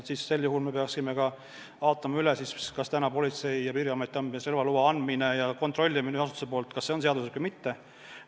Sel juhul me peaksime ka üle vaatama, kas Politsei- ja Piirivalveametis kehtiv relvalubade andmine ja nende kasutamise kontrollimine ühes asutuses on seaduslik või mitte.